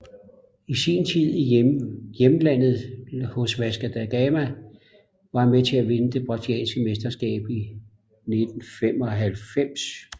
I sin tid i hjemlandet hos Vasco da Gama var han med til at vinde det brasilianske mesterskab i 1995